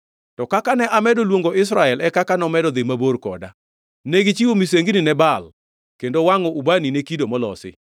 To kaka ne amedo luongo Israel e kaka nomedo dhi mabor koda. Negichiwo misengini ne Baal kendo wangʼo ubani ne kido molosi.